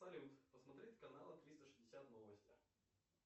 салют посмотреть каналы триста шестьдесят новости